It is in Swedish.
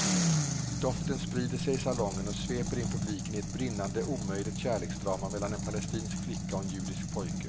Doften sprider sig i salongen och sveper in publiken i ett brinnande omöjligt kärleksdrama mellan en palestinsk flicka och en judisk pojke.